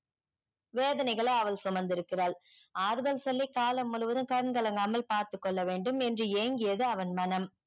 வேதனைகளை அவள் சுமந்து இருக்கிறாள் ஆறுதல் சொல்லி காலம் முழுவதும் கண் கலங்கமால் பாத்துகொள்ள வேண்டும் என்று ஏங்கியது அவன் மணம்